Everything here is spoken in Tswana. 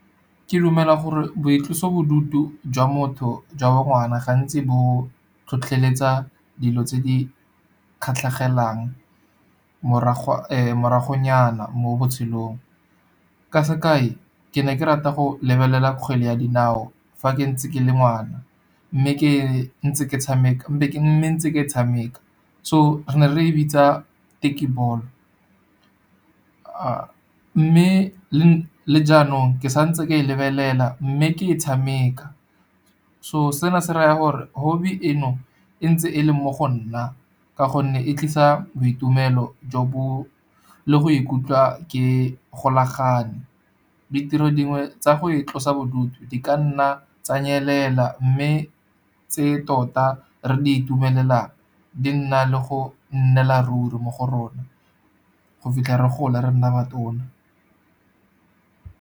Ke dumela gore boitlosobodutu jwa motho jwa bo ngwana, gantsi bo tlhotlheletsa dilo tse di kgatlhegelang, moragonyana mo botshelong. Ka sekai, ke ne ke rata go lebelela kgwele ya dinao, fa ke ntse ke le ngwana mme ntse ke tshameka. So, re ne re e bitsa tekkie ball, mme le jaanong ke sa ntse ke e lebelela, mme ke e tshameka. So, sena se raya gore hobbie eno e ntse e leng mo go nna ka gonne, e tlisa boitumelo le go ikutlwa ke golagane. Ditiro dingwe tsa go itlosa bodutu di ka nna tsa nyelela mme tse tota re di itumelelang, di nna le go nnela ruri mo go rona go fitlha re gola re nna batona.